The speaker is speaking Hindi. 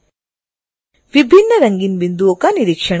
विभिन्न रंगीन बिंदुओं का निरीक्षण करें